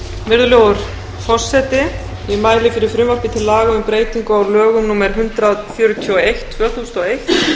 virðulegur forseti ég mæli fyrir frumvarpi til laga um breytingu á lögum númer hundrað fjörutíu og eitt tvö þúsund og eitt